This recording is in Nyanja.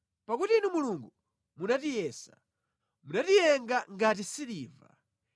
Pakuti Inu Mulungu munatiyesa; munatiyenga ngati siliva.